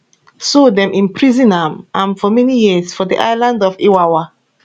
so dem imprison am am for many years for di island of iwawa